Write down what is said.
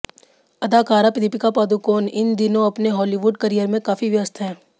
अदाकारा दीपिका पादुकोण इन दिनों अपने हॉलीवुड करियर में काफी व्यस्त हैं